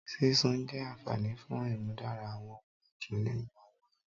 Sisun jẹ anfani fun imudara awọn adun ninu awọn ẹran